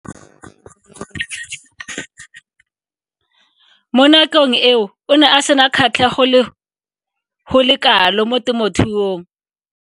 Mo nakong eo o ne a sena kgatlhego go le kalo mo temothuong.